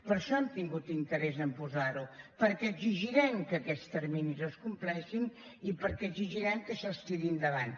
per això hem tingut interès a posar ho perquè exigirem que aquests terminis es compleixin i perquè exigirem que això es tiri endavant